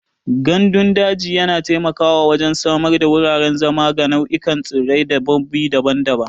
Gandun daji yana taimakawa wajen samar da wuraren zama ga nau'ikan tsirrai da dabbobi daban-daban.